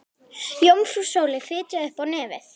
Jómfrú Sóley fitjaði upp á nefið.